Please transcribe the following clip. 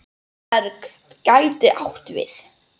Móberg gæti átt við